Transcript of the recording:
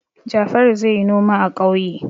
Jafaru zai yi noma a ƙauye.